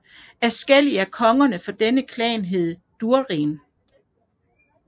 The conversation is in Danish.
Adskillige af kongerne for denne klan hed Durin